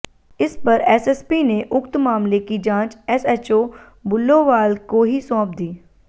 इस पर एसएसपी ने उक्त मामले की जांच एसएचओ बुल्लोवाल को ही सौंप दी